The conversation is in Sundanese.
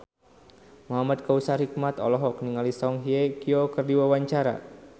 Muhamad Kautsar Hikmat olohok ningali Song Hye Kyo keur diwawancara